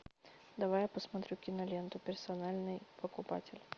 давай я посмотрю киноленту персональный покупатель